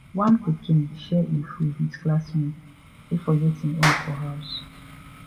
one pikin share im food with classmate wey forget im own for house